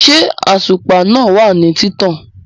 ṣé àtùpà náà wà ní títàn?